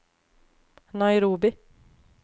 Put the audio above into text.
Nairobi